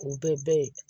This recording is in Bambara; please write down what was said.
K'u bɛɛ ye